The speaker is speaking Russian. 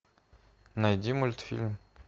найди мультфильм